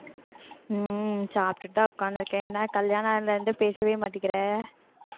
உம் சாப்பிட்டுத்தான் உக்காந்திருக்கேன், என்ன கல்யாணம் ஆனா பேசவே மாட்டேங்கிற